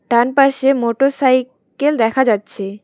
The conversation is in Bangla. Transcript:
ডান পাশে মোটর সাইকেল দেখা যাচ্ছে।